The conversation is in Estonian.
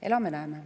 Elame-näeme.